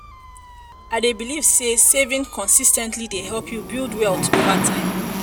i dey believe say saving consis ten tly dey help you build wealth over time.